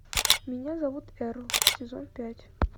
меня зовут эрл сезон пять